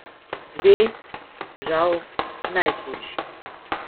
Dve, žal, najhujši.